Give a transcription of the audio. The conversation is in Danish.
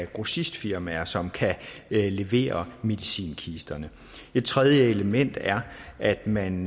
grossistfirmaer som kan levere medicinkisterne et tredje element er at man